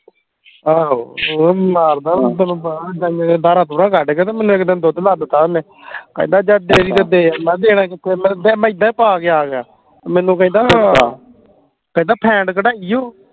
ਆਹੋ ਉਹ ਮਾਰਦੇ ਗਾਈਆਂ ਹਮ ਦੀਆਂ ਧਾਰਾਂ ਧੁਰਾਂ ਕੱਢ ਕੇ ਤੇ ਮੈਨੂੰ ਇਕ ਦਿਨ ਦੁੱਧ ਲੱਦ ਤਾ ਓਹਨੇ ਕਹਿੰਦਾ ਜਾ ਡੇਅਰੀ ਤੇ ਦੇ ਆ ਮੈਂ ਕਿਹਾ ਦੇਣਾ ਹਾਂ ਕਿਥੇ ਹੈ ਮੈਂ ਫੇਰ ਮੈਂ ਇੱਦਾਂ ਹੀ ਪਾ ਕੇ ਆ ਗਿਆ ਮੈਨੂੰ ਕਹਿੰਦਾ ਹਾਂ ਕਹਿੰਦਾ ਫੈਂਟ ਕਢਾਈ ਉ